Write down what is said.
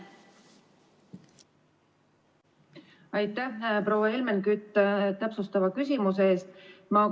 Aitäh, proua Helmen Kütt, täpsustava küsimuse eest!